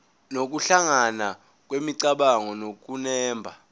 nokuhlangana kwemicabango nokunemba